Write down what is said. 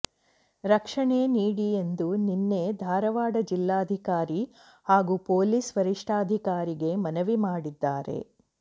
ರಕ್ಷಣೆ ನೀಡಿ ಎಂದು ನಿನ್ನೆ ಧಾರವಾಡ ಜಿಲ್ಲಾಧಿಕಾರಿ ಹಾಗೂ ಪೊಲೀಸ ವರಿಷ್ಠಾಧಿಕಾರಿಗೆ ಮನವಿ ಮಾಡಿದ್ದಾರೆ